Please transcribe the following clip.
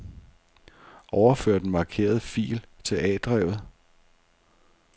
Overfør den markerede fil til A-drevet.